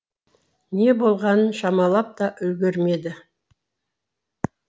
не болғанын шамалап та үлгермеді